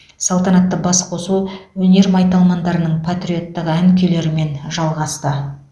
салтанатты басқосу өнер майталмандарының патриоттық ән күйлерімен жалғасты